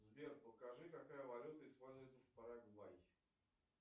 сбер покажи какая валюта используется в парагвай